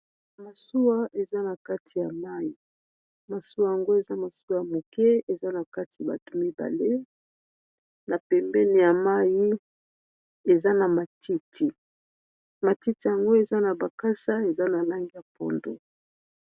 Masuwa eza na kati ya mai. Masuwa yango eza masuwa ya moke eza na kati bato mibale na pembeni ya mai eza na matiti matiti yango eza na bakasa eza na langeya pondo.